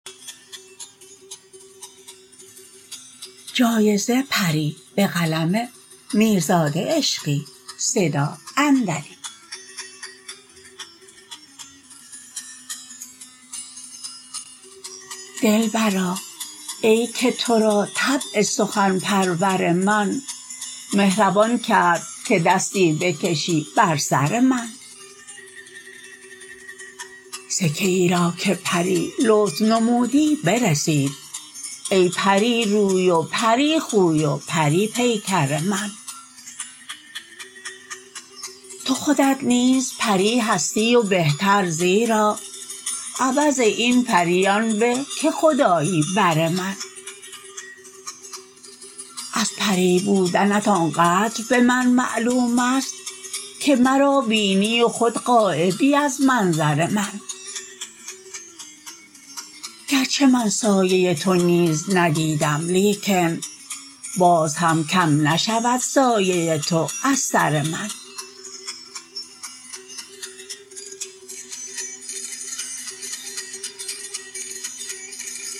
دلبرا ای که ترا طبع سخن پرور من مهربان کرد که دستی بکشی بر سر من سکه ای را که پری لطف نمودی برسید ای پری روی و پری خوی و پری پیکر من تو خودت نیز پری هستی و بهتر زیرا عوض این پری آن به که خودآیی بر من از پری بودنت آنقدر به من معلومست که مرا بینی و خود غایبی از منظر من گرچه من سایه تو نیز ندیدم لیکن باز هم کم نشود سایه تو از سر من